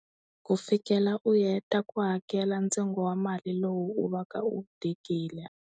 Ku fikela u heta ku hakela ntsengo wa mali lowu u va ka u wu tekile.